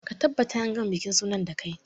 Ka tabbata an gama bikin sunan da kai!